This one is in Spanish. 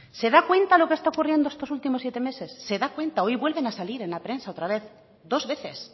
se da cuenta de lo que está ocurriendo estos últimos siete meses se da cuenta hoy vuelven a salir en la prensa otra vez dos veces